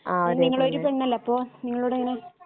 നിങ്ങളൊരു പെണ്ണല്ലേ അപ്പൊ നിങ്ങളൂടെ എങ്ങനെ